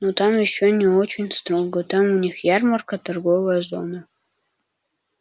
ну там ещё не очень строго там у них ярмарка торговая зона